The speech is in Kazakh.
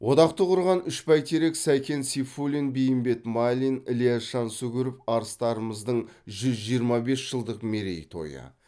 одақты құрған үш бәйтерек сәкен сейфуллин бейімбет майлин ілияс жансүгіров арыстарымыздың жүз жиырма бес жылдық мерейтойы